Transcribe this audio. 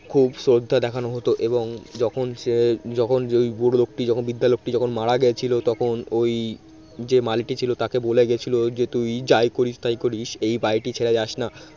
খুব শ্রদ্ধা দেখানো হত এবং যখন সে যখন ওই বুড়ো লোকটি বৃদ্ধা লোকটি যখন মারা গেছিল তখন ওই যে মালিটি ছিল তাকে বলে গেছিল যে তুই যাই করিস তাই করিস এই বাড়িটি ছেড়ে যাস না